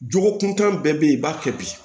Jogo kuntan bɛɛ be yen i b'a kɛ bi